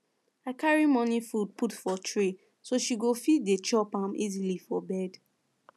i carry morning food put for tray so she go fit dey chop am easily for bed